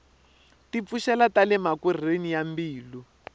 ti pfuxela tale makorhweni ya mbilu